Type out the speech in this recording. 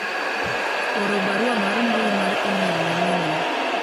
oro barua mar mbui mar email ne minwa